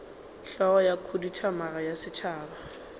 hlogo ya khuduthamaga ya setšhaba